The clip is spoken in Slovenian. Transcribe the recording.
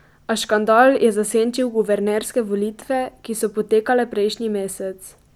A škandal je zasenčil guvernerske volitve, ki so potekale prejšnji mesec.